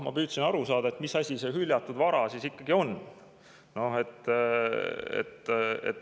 Ma püüdsin aru saada, mis asi see hüljatud vara siis ikkagi on.